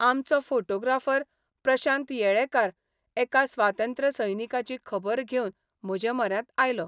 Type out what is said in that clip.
आमचो फोटोग्राफर प्रशांत येळेकार एका स्वातंत्र्यसैनिकाची खबर घेवन म्हजेम्हऱ्यांत आयलो.